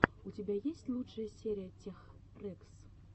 у тебя есть лучшая серия тех рэкс